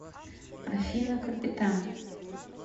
афина капитан